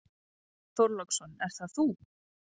Björn Þorláksson: Er það þú?